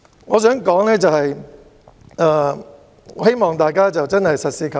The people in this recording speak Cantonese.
我想說的是，希望大家實事求是。